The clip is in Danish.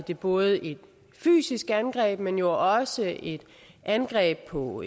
det både et fysisk angreb men jo også et angreb på